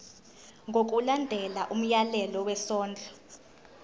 ngokulandela umyalelo wesondlo